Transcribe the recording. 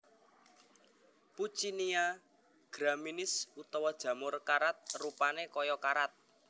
Puccinia graminis utawa jamur karat rupané kaya karat